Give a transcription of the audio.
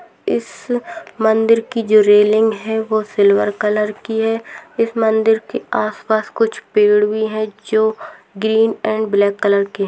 इस मंदिर की जो रैलिंग है वह सिल्वर कलर की है इस मंदिर के आस-पास कुछ पेड़ भी है जो ग्रीन एंड ब्लैक कलर की है।